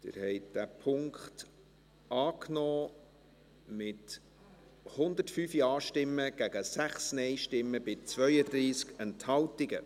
Sie haben diesen Punkt angenommen, mit 105 Ja- gegen 6 Nein-Stimmen bei 32 Enthaltungen.